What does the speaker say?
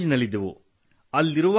ನಾವು ಕಾಲೇಜಿನಲ್ಲಿದ್ದೆವು